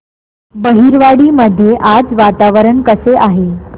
बहिरवाडी मध्ये आज वातावरण कसे आहे